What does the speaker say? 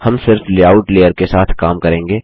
हम सिर्फ़ layout layer के साथ काम करेंगे